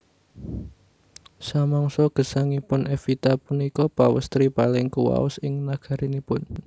Samangsa gesangipun Evita punika pawèstri paling kuwaos ing nagarinipun